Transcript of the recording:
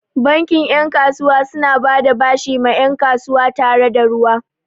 Bankin 'yan kasuwa suna bada bashi ma 'yan kasuwa tare da ruwa.